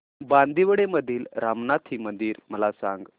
बांदिवडे मधील रामनाथी मंदिर मला सांग